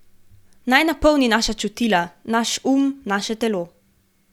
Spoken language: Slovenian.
Naj napolni naša čutila, naš um, naše telo.